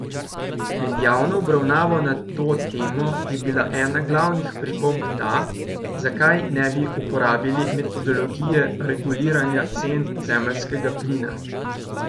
Med javno obravnavo na to temo je bila ena glavnih pripomb ta, zakaj ne bi uporabili metodologije reguliranja cen zemeljskega plina.